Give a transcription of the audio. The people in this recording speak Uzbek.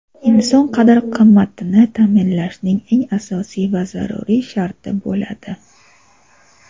inson qadr-qimmatini taʼminlashning eng asosiy va zaruriy sharti bo‘ladi.